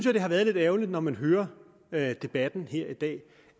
at det er lidt ærgerligt når man hører debatten her i dag